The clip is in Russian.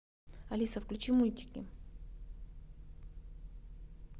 алиса включи мультики